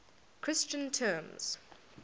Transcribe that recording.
christian terms